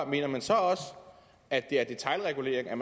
mener man så også at det er detailregulering at